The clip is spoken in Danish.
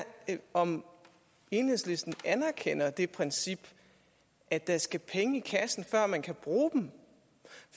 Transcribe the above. om enhedslisten anerkender det princip at der skal penge i kassen før man kan bruge dem